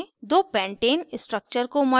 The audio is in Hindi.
दो pentane pentane structures को मर्ज करें